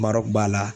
Mara b'a la